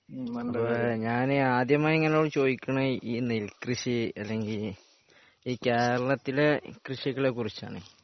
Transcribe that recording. ഞാന് ആദ്യമായി ഇന്നോട് ചോദിക്കണേ ഈ നെൽകൃഷി അല്ലെങ്കി ഈ കേരളത്തിലെ കൃഷികളെ കുറിച്ചാണ്